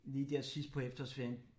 Lige dér sidst på eftersårferien